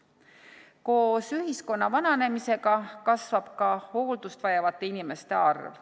Koos ühiskonna vananemisega kasvab ka hooldust vajavate inimeste arv.